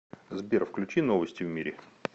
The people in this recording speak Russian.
сбер включи новости в мире